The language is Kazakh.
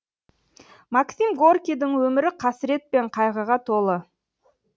максим горькийдің өмірі қасірет пен қайғыға толы